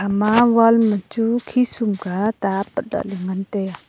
ema wall ma chu khi summa ta apat lahley ngan taiya.